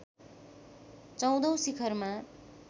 १४औं शिखरमा